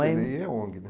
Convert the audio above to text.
O cê dê i é ONG, né?